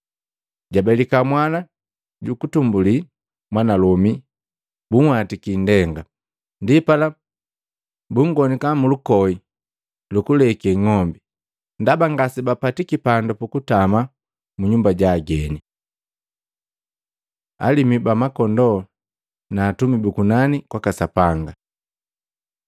Jabelika mwana jukutumbuli mwanalomi, bunhwatiki indenga. Ndipala bunngonika mulukoi lukulele ng'ombi, ndaba ngasebapatiki pandu pukutama munyumba ja ageni. Alimu ba makondoo na atumi bu kunani kwaka Sapanga